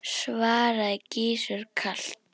svaraði Gizur kalt.